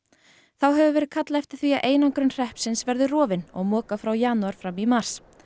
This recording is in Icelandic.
þá hefur verið kallað eftir því að einangrun hreppsins verði rofin og mokað frá janúar fram í mars